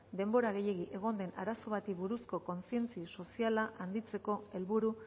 denbora gehiegi egon den arazon bati buruzko kontzientzia soziala handitzeko helburu